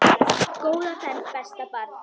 Góða ferð besta barn.